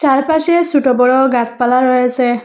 চারপাশে সোট বড় গাসপালা রয়েসে।